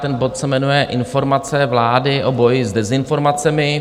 Ten bod se jmenuje Informace vlády o boji s dezinformacemi.